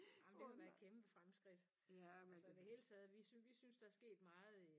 Jamen det har været kæmpe fremskridt altså i det hele taget vi sy vi synes der sket meget i